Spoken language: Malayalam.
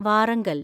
വാറങ്കൽ